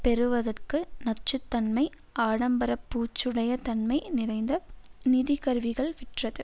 பெருக்குவதற்கு நச்சு தன்மை ஆடம்பர பூச்சுடைய தன்மை நிறைந்த நிதி கருவிகள் விற்றது